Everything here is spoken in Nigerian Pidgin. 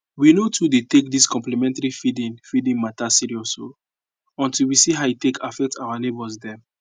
we no too dey take dis complementary feeding feeding mata serious o until we see how e affect our neighbors dem